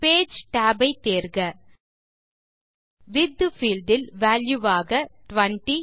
page tab ஐ தேர்க width field இல் வால்யூ ஆக 20